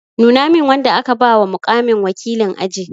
Nuna min wanda aka ba wa muƙamin wakilin aji!